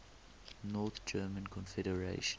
north german confederation